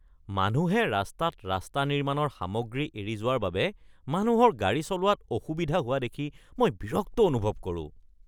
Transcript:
মানুহে ৰাস্তাত ৰাস্তা নিৰ্মাণৰ সামগ্ৰী এৰি যোৱাৰ বাবে মানুহৰ গাড়ী চলোৱাত অসুবিধা হোৱা দেখি মই বিৰক্ত অনুভৱ কৰোঁ।